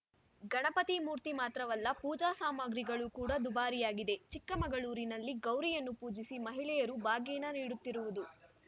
ಗಣಪತಿ ಮೂರ್ತಿ ಮಾತ್ರವಲ್ಲ ಪೂಜಾ ಸಾಮಗ್ರಿಗಳು ಕೂಡ ದುಬಾರಿಯಾಗಿದೆ ಚಿಕ್ಕಮಗಳೂರಿನಲ್ಲಿ ಗೌರಿಯನ್ನು ಪೂಜಿಸಿ ಮಹಿಳೆಯರು ಬಾಗಿನ ನೀಡುತ್ತಿರುವುದು